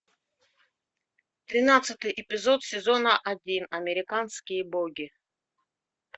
тринадцатый эпизод сезона один американские боги